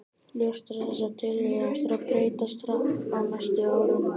Ljóst er að þessar tölur eiga eftir að breytast hratt á næstu árum.